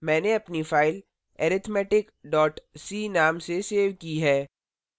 मैंने अपनी file arithmetic c नाम से सेव की है